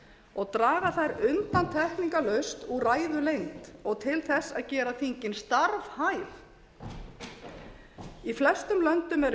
og draga þær undantekningarlaust úr ræðulengd og til að gera þingið starfhæf í flestum löndum eru